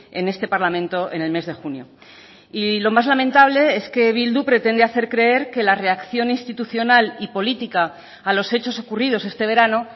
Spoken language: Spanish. en este parlamento en el mes de junio y lo más lamentable es que bildu pretende hacer creer que la reacción institucional y política a los hechos ocurridos este verano